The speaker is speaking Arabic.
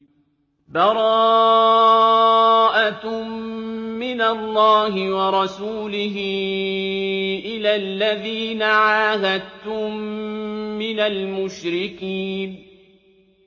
بَرَاءَةٌ مِّنَ اللَّهِ وَرَسُولِهِ إِلَى الَّذِينَ عَاهَدتُّم مِّنَ الْمُشْرِكِينَ